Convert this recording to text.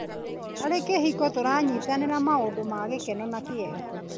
Harĩ kĩhiko, tũranyitanĩra maũndũ ma gĩkeno na kĩeha.